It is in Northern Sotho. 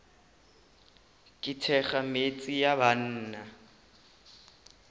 ke thekga metse ya banna